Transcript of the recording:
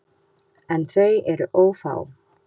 En þau eru ófá.